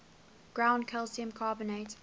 ground calcium carbonate